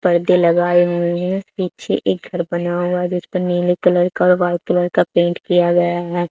पर्दे लगाए हुए हैं पीछे एक घर बना हुआ जिसपे नीले कलर का और वाइट कलर का पेंट किया गया है।